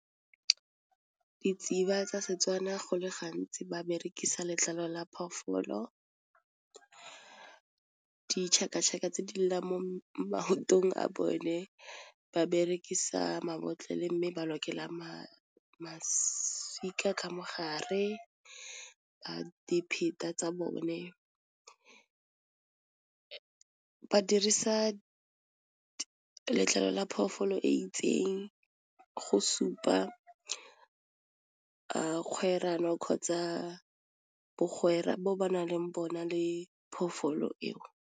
Ditsiba tsa setswana go le gantsi ba berekisa letlalo la phoofolo, tse di lelang mo maotong a bone, ba berekisa mabotlolo le mme ba lokela maswika ka mogare, dipheta tsa bone , ba dirisa letlalo la phoofolo e itseng go supa kgwerano kgotsa bagwera bo ba nang le bona le phoofolo eo.